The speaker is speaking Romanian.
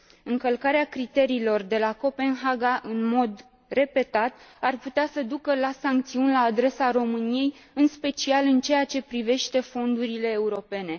Încălcarea criteriilor de la Copenhaga, în mod repetat, ar putea să ducă la sancțiuni la adresa României, în special în ceea ce privește fondurile europene.